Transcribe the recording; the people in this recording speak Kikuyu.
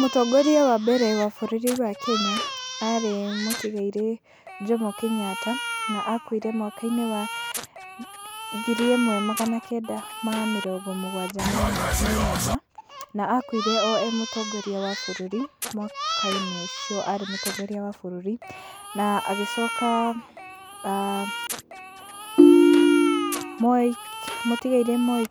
Mũtongoria wa mbere wa bũrũri wa Kenya arĩ mũtigairĩ Jomo Kenyatta na akuire mwaka-inĩ wa ngiri ĩmwe magana kenda ma mĩrongo mũgwanja menana, na akuire o e mũtongoria wa bũrũri mwaka-inĩ ũcio, arĩ mũtongoria wa bũrũri. Na agĩcoka mũtigairĩ Moi,